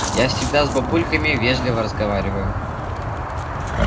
я всегда с бабульками вежливо разговариваю